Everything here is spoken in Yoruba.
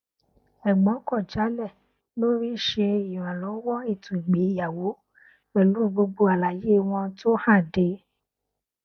ẹgbọn kọ jálẹ lórí ṣṣe ìrànlọwọ ètò ìgbéyàwó pẹlú gbogbo àlàyé wọn tó hànde